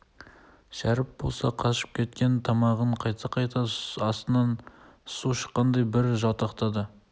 шәріп болса қышып кеткен тамағын қайта-қайта астынан су шыққандай бір жалтақтады